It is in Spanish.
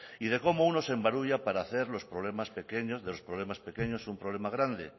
y de cómo uno se embarulla para hacer de los problemas pequeños un problema grande